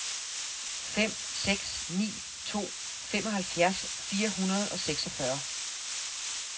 fem seks ni to femoghalvfjerds fire hundrede og seksogfyrre